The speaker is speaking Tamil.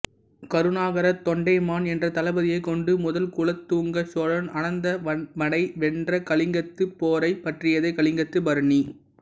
கருணாகர தொண்டைமான் என்ற தளபதியைக் கொண்டு முதல் குலோத்துங்க சோழன் அனந்தவன்மனை வென்ற கலிங்கப் போரைப் பற்றியதே கலிங்கத்துப் பரணி